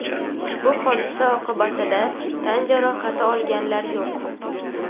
Ushbu hodisa oqibatida tan jarohati olganlar yo‘q.